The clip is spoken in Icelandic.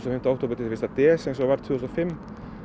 fimmta október til fyrsta desember eins og var tvö þúsund og fimm